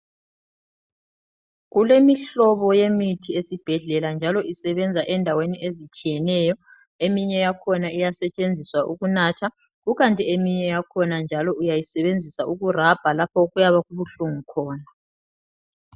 Kulemihlobo yemithi esibhedlela njalo isebenza endaweni ezitshiyeneyo. Eminye yakhona iyasetshenziswa ukunatha kukanti eminye yakhona njalo uyayisebenzisa ukurabha lapho okuyabe kubuhlungu khona.